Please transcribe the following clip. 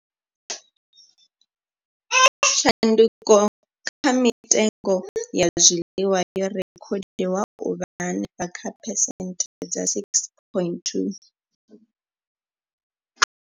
Tshanduko kha mitengo ya zwiḽiwa yo rekhodiwa u vha henefha kha phesenthe dza 6.2.